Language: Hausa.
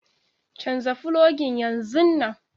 Canza fologin yanzun nan.